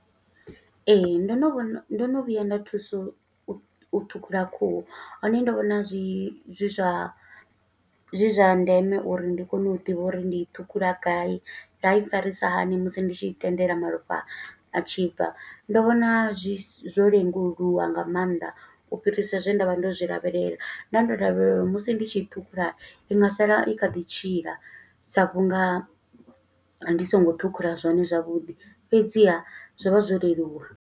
Ee, ndo no vhona, ndo no vhuya nda thuso u ṱhukhula khuhu, hone ndo vhona zwi zwa, zwi zwa ndeme uri ndi kone u ḓivha uri ndi i ṱhukhula gai, nda i farisa hani musi ndi tshi tendela malofha a tshi bva. Ndo vhona zwi zwo lenguluwa nga maanḓa, u fhirisa zwe nda vha ndo zwi lavhelela, nda ndo lavhelela musi ndi tshi ṱhukhula i nga sala i kha ḓi tshila, sa vhunga ndi songo ṱhukhula zwone zwavhuḓi, fhedziha zwo vha zwo leluwa.